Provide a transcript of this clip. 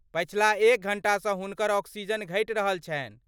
पछिला एक घण्टासँ हुनकर ऑक्सीजन घटि रहल छनि।